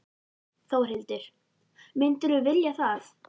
Þórhildur: Myndirðu vilja það?